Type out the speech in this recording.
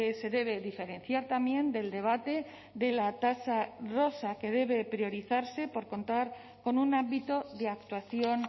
se debe diferenciar también del debate de la tasa rosa que debe priorizarse por contar con un ámbito de actuación